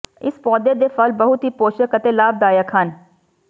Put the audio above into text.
ਇਸ ਪੌਦੇ ਦੇ ਫਲ ਬਹੁਤ ਹੀ ਪੋਸ਼ਕ ਅਤੇ ਲਾਭਦਾਇਕ ਹਨ